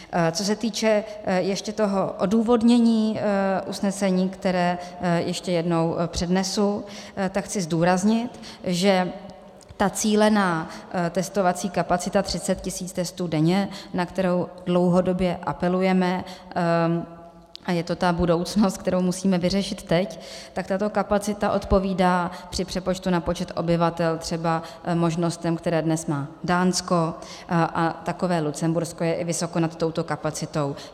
Co se týče ještě toho odůvodnění usnesení, které ještě jednou přednesu, tak chci zdůraznit, že ta cílená testovací kapacita 30 tisíc testů denně, na kterou dlouhodobě apelujeme, a je to ta budoucnost, kterou musíme vyřešit teď, tak tato kapacita odpovídá při přepočtu na počet obyvatel třeba možnostem, které dnes má Dánsko, a takové Lucembursko je i vysoko nad touto kapacitou.